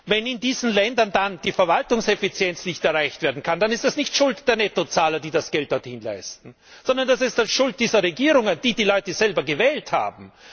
Wenn in diesen Ländern die Verwaltungseffizienz nicht erreicht werden kann, dann ist das nicht Schuld der Nettozahler, die das Geld dorthin zahlen, sondern dann ist das die Schuld dieser Regierungen, die die Leute selber gewählt haben.